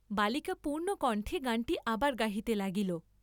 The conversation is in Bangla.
বালিকা পূর্ণকণ্ঠে গানটি আবার গাহিতে লাগিল।